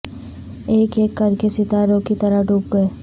ایک اک کر کے ستاروں کی طرح ڈوب گئے